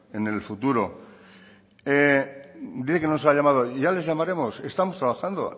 en el futuro dice que no le hemos llamado y ya les llamaremos estamos trabajando